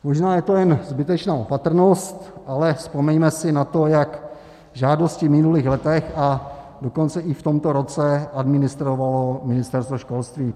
Možná je to jen zbytečná opatrnost, ale vzpomeňme si na to, jak žádosti v minulých letech, a dokonce i v tomto roce administrovalo Ministerstvo školství.